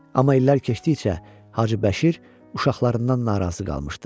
Amma illər keçdikcə Hacıbəşir uşaqlarından narazı qalmışdı.